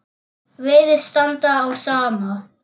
Virðist standa á sama.